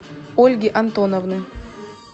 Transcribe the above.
ольги антоновны